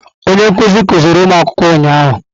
Onye nkuzi kuziri ụmụ akwụkwọ ụnyahụ.